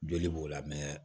Joli b'o la